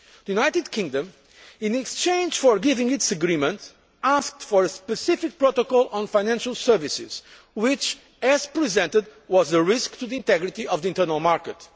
Treaty. The United Kingdom, in exchange for giving its agreement, asked for a specific protocol on financial services which, as presented, was a risk to the integrity of the internal